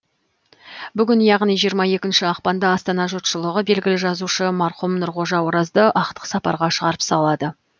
бүгін яғни жиырма екінші ақпанда астана жұртшылығы белгілі жазушы марқұм нұрғожа оразды ақтық сапарға шығарып салады